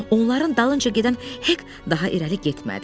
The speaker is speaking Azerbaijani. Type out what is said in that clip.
Onların dalınca gedən Hek daha irəli getmədi.